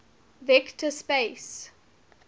vector space